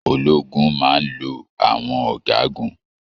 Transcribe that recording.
Ológun máa n lọ àwọn ọgágun